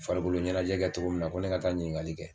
Farikolo ɲɛnajɛ kɛ cogo min na ko ne ka taa ɲiniŋali kɛ